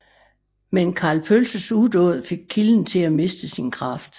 Men Karl Pølses udåd fik kilden til at miste sin kraft